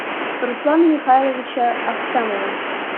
руслана михайловича ахтямова